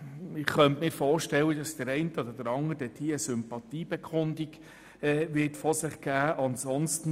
Ich könnte mir vorstellen, dass der eine oder andere eine Sympathiebekundung von sich geben wird.